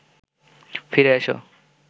ফিরে এসো